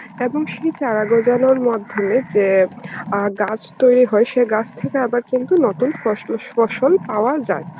এখন সেই চারা গজানোর মাধ্যমে যে আ গাছ তৈরি হয় সেই গাছ থেকে আবার কিন্তু নতুন ফসলো~ ফসল পাওয়া যায়.